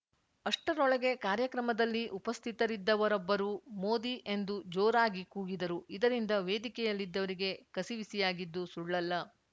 ಅಷ್ಟರೊಳಗೆ ಕಾರ್ಯಕ್ರಮದಲ್ಲಿ ಉಪಸ್ಥಿತರಿದ್ದವರೊಬ್ಬರು ಮೋದಿ ಎಂದು ಜೋರಾಗಿ ಕೂಗಿದರು ಇದರಿಂದ ವೇದಿಕೆಯಲ್ಲಿದ್ದವರಿಗೆ ಕಸಿವಿಸಿಯಾಗಿದ್ದು ಸುಳ್ಳಲ್ಲ